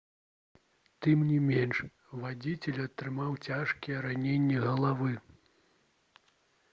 тым не менш вадзіцель атрымаў цяжкія раненні галавы